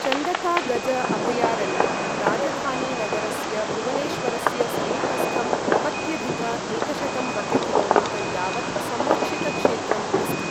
चन्दका गज अभयारण्यं राजधानीनगरस्य भुवनेश्वरस्य समीपस्थं नवत्यधिक एकशतं वर्गकि.मी. यावत् संरक्षित क्षेत्रम् अस्ति।